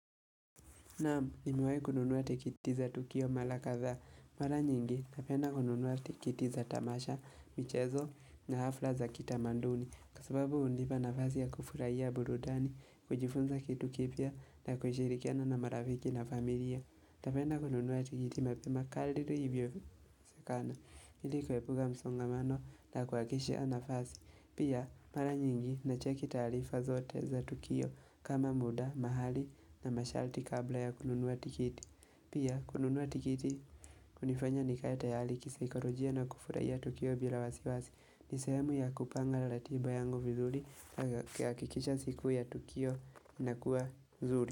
Naam nimewai kununua tikitiza tukio mala kadha. Mara nyingi napenda kununua tikiti za tamasha, michezo na hafla za kitamanduni. Kwa sababu hunipa nafasi ya kufuraia burudani, kujifunza kitu kipya na kushirikiana na marafiki na familia. Napenda kununuwa tikiti mapema kaliri hivyo zekana. Nili kuepuka msongamano na kuhakishi ya nafasi. Pia mara nyingi na cheki taalifa zote za Tukio kama muda, mahali na mashalti kabla ya kununua tikiti Pia kununua tikiti kunifanya nikae tayali kisaikalojia na kufuraia Tukio bila wasi wasi nisehemu ya kupanga la latiba yangu vizuri yakikisha siku ya Tukio inakuwa zuri.